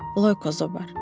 Loyko Zobar.